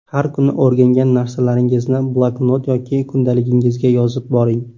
Har kuni o‘rgangan narsalaringizni bloknot yoki kundaligingizga yozib boring.